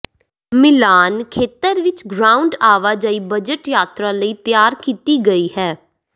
ਮਿਲਾਨ ਖੇਤਰ ਵਿਚ ਗਰਾਊਂਡ ਆਵਾਜਾਈ ਬਜਟ ਯਾਤਰਾ ਲਈ ਤਿਆਰ ਕੀਤੀ ਗਈ ਹੈ